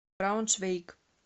брауншвейг